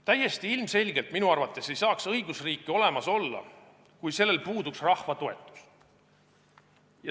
Täiesti ilmselgelt ei saaks õigusriiki olemas olla, kui sellel puuduks rahva toetus.